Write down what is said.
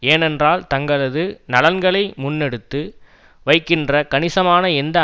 ஏனென்றால் தங்களது நலன்களை முன்னெடுத்து வைக்கின்ற கணிசமான எந்த